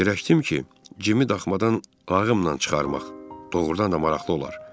Fikirləşdim ki, Cimi daxmadan lağımla çıxarmaq doğrudan da maraqlı olar.